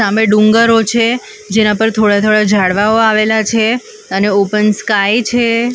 સામે ડુંગરો છે જેના પર થોડા થોડા ઝાડવાઓ આવેલા છે અને ઓપન સ્કાય છે.